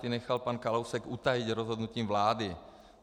Ty nechal pan Kalousek utajit rozhodnutím vlády.